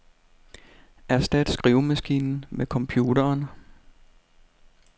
Erstat skrivemaskinen med computeren.